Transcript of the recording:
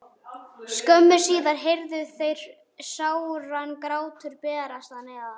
Örskömmu síðar heyrðu þeir sáran grát berast að neðan.